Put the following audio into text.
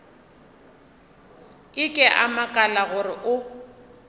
ke a makala gore o